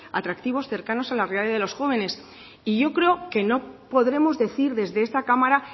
atractivos cercanos a la realidad de los jóvenes y yo creo que no podemos decir desde esta cámara